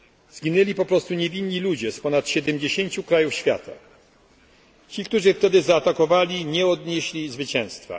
Zginęli po prosu niewinni ludzie z ponad 70 krajów świata. Ci, którzy wtedy zaatakowali nie odnieśli zwycięstwa.